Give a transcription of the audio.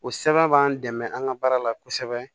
O sɛbɛn b'an dɛmɛ an ka baara la kosɛbɛ